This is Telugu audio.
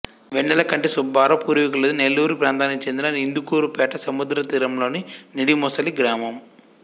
వెన్నెలకంటి సుబ్బారావు పూర్వీకులది నెల్లూరు ప్రాంతానికి చెందిన ఇందుకూరుపేట సముద్రతీరంలోని నిడిముసలి గ్రామం